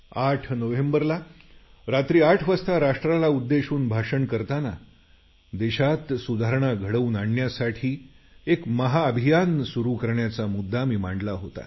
8 नोव्हेंबरला रात्री 8 वाजता राष्ट्राला उद्देशून भाषण करताना देशात सुधारणा घडवून आणण्यासाठी एक महाअभियान सुरू करण्याचा मुद्दा मी मांडला होता